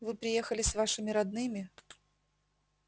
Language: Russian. вы приехали с вашими родными